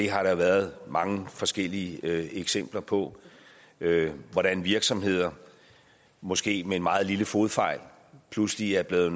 har været mange forskellige eksempler på hvordan virksomheder måske med en meget lille fodfejl pludselig er blevet